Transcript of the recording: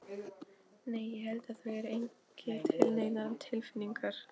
Nei. ég held að þú eigir ekki til neinar tilfinningar.